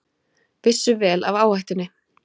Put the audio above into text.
Vissu vel af áhættunni